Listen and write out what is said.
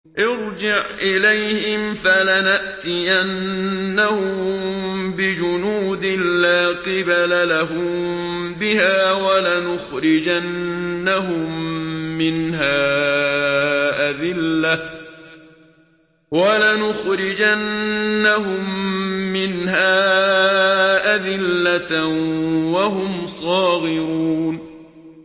ارْجِعْ إِلَيْهِمْ فَلَنَأْتِيَنَّهُم بِجُنُودٍ لَّا قِبَلَ لَهُم بِهَا وَلَنُخْرِجَنَّهُم مِّنْهَا أَذِلَّةً وَهُمْ صَاغِرُونَ